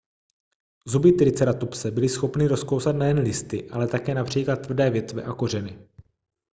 zuby triceratopse byly schopny rozkousat nejen listy ale také například tvrdé větve a kořeny